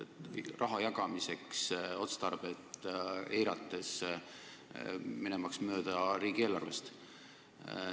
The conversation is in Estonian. See on mõeldud raha jagamiseks otstarvet eirates ja riigieelarvest mööda minnes.